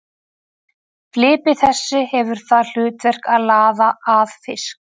Flipi þessi hefur það hlutverk að laða að fisk.